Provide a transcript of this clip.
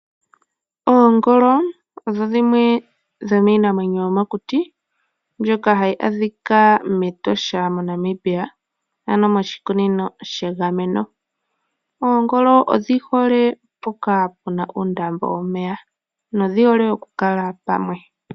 Oongolo odho dhimwe dhomiinamwenyo yomokuti mbyoka hayi adhika mEtosha moNamibia, ano moshikunino shegameno. Oongolo odhi hole mpoka puna uundambo womeya nodhi hole oku kala pamwe.